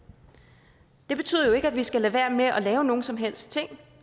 det betyder jo ikke at vi skal lade være med at lave noget som helst